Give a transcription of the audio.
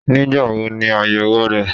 Nígbáwo ni àyèwò re?